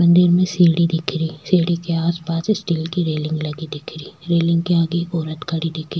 मंदिर में सीढ़ी दिखरी सीढ़ी के आस पास स्टील की रेलिंग लगी दिखेरी रेलिंग के आगे एक औरत खड़ी दिखी।